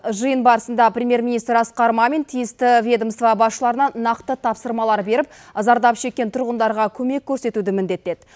жиын барысында премьер министр асқар мамин тиісті ведомство басшыларына нақты тапсырмалар беріп зардап шеккен тұрғындарға көмек көрсетуді міндеттеді